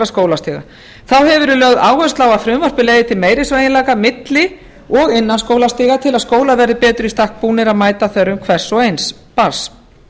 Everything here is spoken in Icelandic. skólastiga þá hefur verið lögð áhersla á að frumvarpið leiði til meiri sveigjanleika milli og innan skólastiga til að skólar verði betur í stakk búnir að mæta þörfum hvers og eins barns